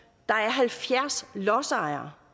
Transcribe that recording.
halvfjerds lodsejere